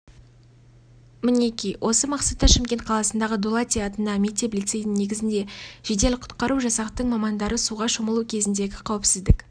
мінеки осы мақсатта шымкент қаласындағы дулати атындағы мектеп-лицейдің негізінде жедел-құтқару жасақтың мамандары суға шомылу кезіндегі қауіпсіздік